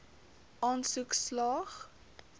aansoek slaag